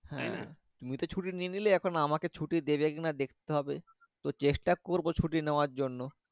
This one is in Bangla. হ্যাঁ তাই না তুমি তো ছুটি নিয়ে নিলে এখন আমাকে ছুটি দেবে কিনা দেখতে হবে চেষ্টা করবো ছুটি নেওয়ার জন্য।